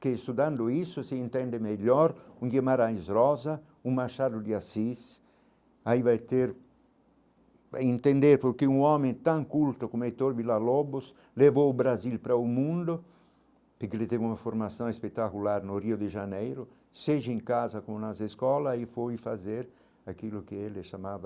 Que estudando isso, se entende melhor, um Guimarães Rosa, um Machado de Assis, aí vai ter... entender porque um homem tão culto como Heitor Villa-Lobos levou o Brasil para o mundo, porque ele teve uma formação espetacular no Rio de Janeiro, seja em casa, como nas escolas, e foi fazer aquilo que ele chamava